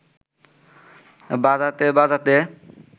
বাজাতে বাজাতে